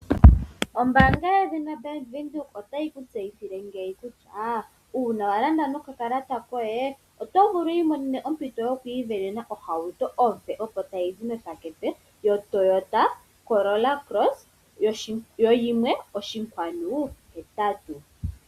Ombaanga yedhina bank Windhoek otayi ku tseyithile ngeyi kutya uuna walanda nokakalata koye oto vulu wu isindanene ohauto ompe opo tayizi mepakete yoToyota Corolla Cross yo 1.8.